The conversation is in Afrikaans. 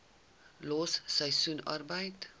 los seisoensarbeid